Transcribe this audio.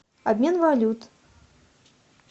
обмен валют